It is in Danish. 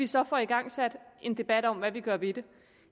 så får igangsat en debat om hvad vi gør ved det